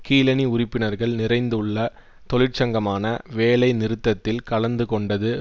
கீழணி உறுப்பினர்கள் நிறைந்துள்ள தொழிற்சங்கமான வேலை நிறுத்தத்தில் கலந்து கொண்டது